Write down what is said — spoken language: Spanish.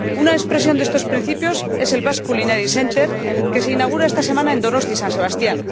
Una expresión de estos principios es el Basque Culinary Center que se inaugura esta semana en Donostia San Sebastián.